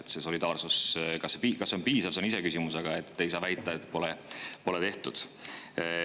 Kas see solidaarsus on piisav, see on iseküsimus, aga ei saa väita, et pole tehtud.